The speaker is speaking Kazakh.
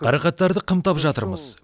қарақаттарды қымтап жатырмыз